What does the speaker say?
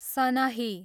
सनही